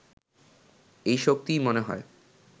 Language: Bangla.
এই শক্তিই মনে হয়